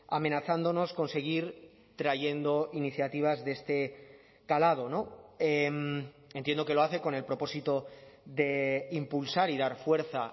amenazándonos con seguir trayendo iniciativas de este calado entiendo que lo hace con el propósito de impulsar y dar fuerza